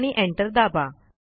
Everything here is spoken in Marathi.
आणि एंटर दाबा